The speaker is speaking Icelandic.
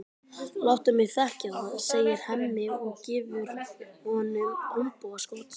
Láttu mig þekkja það, segir Hemmi og gefur honum olnbogaskot.